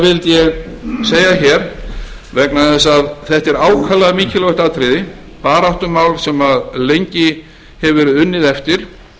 vildi ég segja hér vegna þess að þetta er ákaflega mikilvægt atriði baráttumál sem lengi hefur verið unnið eftir